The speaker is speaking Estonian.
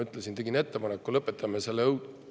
Ma tegin ettepaneku, et lõpetame selle ära, teeme õudse lõpu.